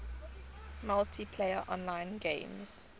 multiplayer online games